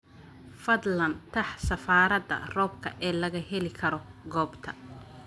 fadlan tax safarada roobka ee laga heli karo goobta